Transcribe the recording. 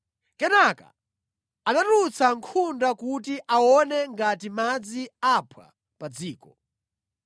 Kenaka anatulutsa nkhunda kuti aone ngati madzi aphwa pa dziko.